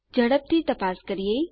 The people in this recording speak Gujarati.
ઝડપથી તપાસ કરીએ